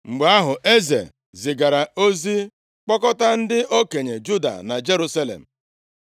Mgbe ahụ, eze zigara ozi kpọkọta ndị okenye Juda na Jerusalem.